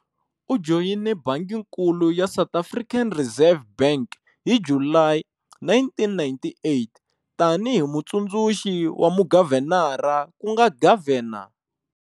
U joyine banginkulu ya South African Reserve Bank hi Julayi 1998 tani hi Mutsundzuxi wa mugavhenara ku nga Governor.